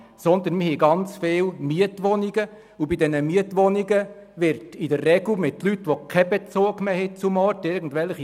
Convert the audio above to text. Wir haben auch sehr viele Mietwohnungen, und diese gehören in der Regel Leuten, die keinen Bezug mehr zum Ort haben.